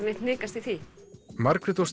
neitt hnikast í því Margrét og